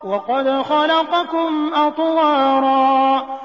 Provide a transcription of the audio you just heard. وَقَدْ خَلَقَكُمْ أَطْوَارًا